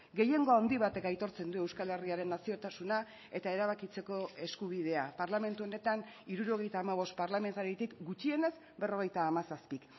gehiengo handi batek aitortzen du euskal herriaren naziotasuna eta erabakitzeko eskubidea parlamentu honetan hirurogeita hamabost parlamentaritik gutxienez berrogeita hamazazpi